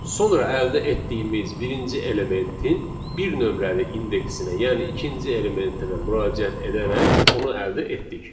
Sonra əldə etdiyimiz birinci elementin bir nömrəli indeksinə, yəni ikinci elementinə müraciət edərək onu əldə etdik.